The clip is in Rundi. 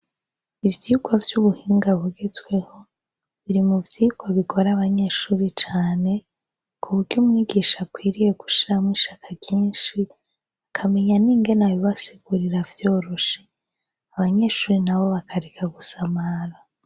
Ivyigwa vy'ubuhinga bugezweho biri mu vyigwa bikora abanyeshuri cane kuburyo umwigisha akwiriye gushiramwo ishaka ryinshi akamenya n'ingene abibasigurira vyoroshe abanyeshuri nabo bakareka gusa mara.